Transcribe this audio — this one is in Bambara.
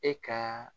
E ka